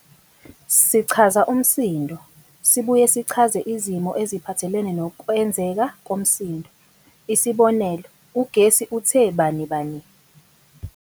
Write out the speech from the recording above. Sichaza umsindo, sibuye sichaze izimo eziphathelene nokwenzeka komsindo, isibonelo- ugesi uthe bani! bani!.